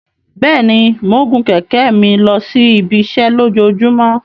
Bẹẹni, Mo ń gun kẹ̀kẹ́ mi losi ibiṣẹ lojoojumọ